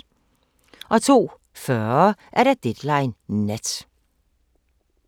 02:40: Deadline Nat